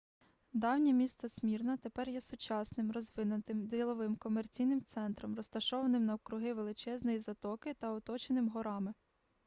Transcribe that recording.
давнє місто смірна тепер є сучасним розвиненим діловим комерційним центром розташованим навкруги величезної затоки та оточеним горами